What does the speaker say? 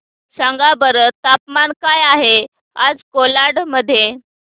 सांगा बरं तापमान काय आहे आज कोलाड मध्ये